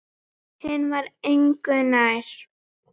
Hinn var engu nær.